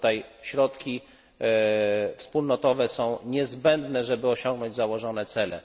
I tutaj środki wspólnotowe są niezbędne, żeby osiągnąć założone cele.